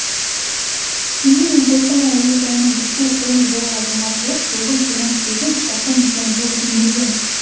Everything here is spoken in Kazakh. семей мен қостанай әуежайының ұшу қону жолағы жаңартылып тоғыз жүз жиырма сегіз шақырым теміржол жөнделген